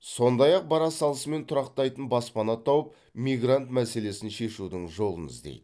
сондай ақ бара салысымен тұрақтайтын баспана тауып мигрант мәселесін шешудің жолын іздейді